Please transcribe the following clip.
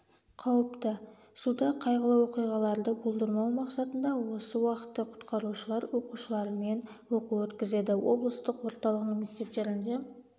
қауіпті суда қайғылы оқиғаларды болдырмау мақсатында осы уақытта құтқарушылар оқушылармен оқу өткізеді облыстық орталығының мектептерінде